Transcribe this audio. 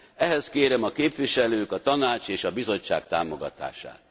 Ehhez kérem a képviselők, a Tanács és a Bizottság támogatását.